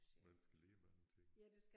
Man skal lære mange ting